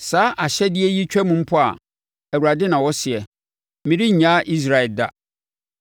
“Saa ahyɛdeɛ yi twam mpo a,” Awurade na ɔseɛ, “merennyaa Israel da.”